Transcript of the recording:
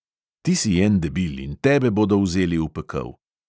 Ti si en debil in tebe bodo vzeli v pekel!